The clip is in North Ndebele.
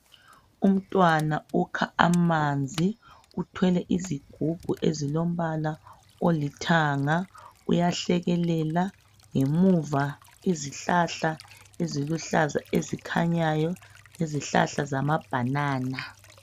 Umntwana ukha amanzi uthwele isigubhu esilombala olithanga uyahlekelela. Ngemuva izihlahla eziluhlaza ezikhanyayo, izihlahla zama banana.